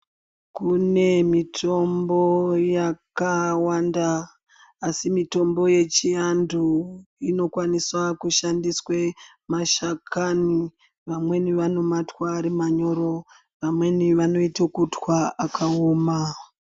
Kune mitombo yakawanda asi mitombo yechiantu inokwanise kushandiswa mashakani vamweni vanomatwa arimanyoro vamweni vanoita kutwa akaoma.